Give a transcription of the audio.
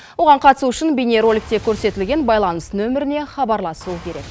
оған қатысу үшін бейнероликте көрсетілген байланыс нөміріне хабарласу керек